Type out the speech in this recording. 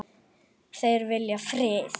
Þeir vilja frið.